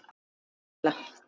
Agnes og Katla.